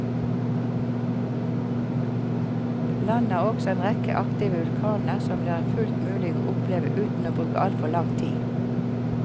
Landet har også en rekke aktive vulkaner som det er fullt mulig å oppleve uten å bruke altfor lang tid.